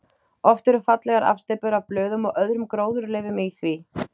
Oft eru fallegar afsteypur af blöðum og öðrum gróðurleifum í því.